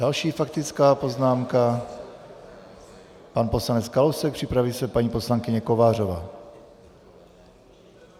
Další faktická poznámka, pan poslanec Kalousek, připraví se paní poslankyně Kovářová.